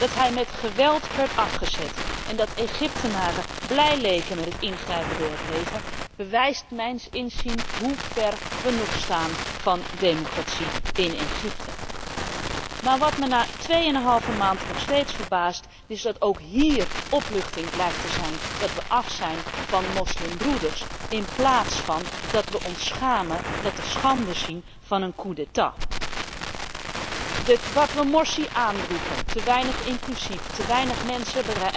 Dat hij met geweld werd afgezet en dat de Egyptenaren blij leken met het ingrijpen door het leger, bewijst mijns inziens hoe ver wij nog van democratie staan in Egypte. Maar wat mij na tweeëneenhalve maand nog steeds verbaast, is dat ook hier opluchting lijkt zijn dat wij af zijn van de moslimbroeders in plaats van dat wij ons schamen en de schande zien van een coup d'état Wat wij Morsi aanwreven, te weinig inclusief, te weinig mensen